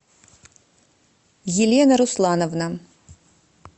елена руслановна